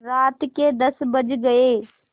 रात के दस बज गये